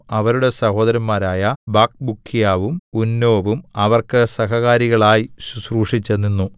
അവരുടെ സഹോദരന്മാരായ ബക്ക്ബൂക്ക്യാവും ഉന്നോവും അവർക്ക് സഹകാരികളായി ശുശ്രൂഷിച്ച് നിന്നു